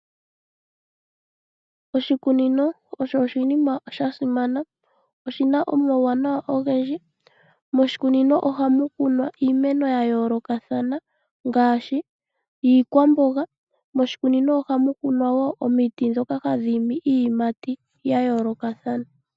Oshikunnino osho oshinima shasimana, noshina omauwanawa ogendji. Moshikunino ohamu kunwa iimeno ya yoolokathana, ngaashi iikwamboga. Moshikunino ohamu kunwa wo omiti ndhoka hadhi imi iiyimati yayoolokathana.